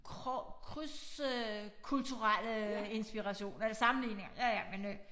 Krydskulturelle inspiration eller sammenligninger ja ja men øh